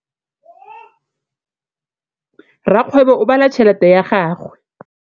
Rakgwêbô o bala tšheletê ya gagwe.